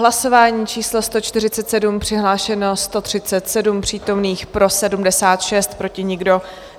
Hlasování číslo 147, přihlášeno 137 přítomných, pro 76, proti nikdo.